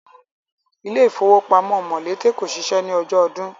Ilé ifówópamọ́ Mòlété kò ṣiṣẹ́ ní ọjọ́ ọdun